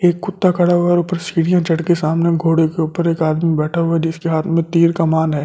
एक कुत्ता खड़ा हुआ है और ऊपर सीढ़ियां चढ़के सामने घोड़े के ऊपर एक आदमी बैठा हुआ है जिसके हाथ में तीर कमान है।